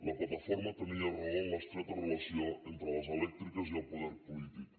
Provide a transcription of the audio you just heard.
la plataforma tenia raó en l’estreta relació entre les elèctriques i el poder polític